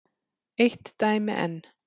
Eitt dæmi enn.